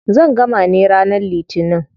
Zan gama ne ranar litinin.